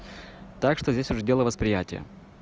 так что здесь уже дело восприятия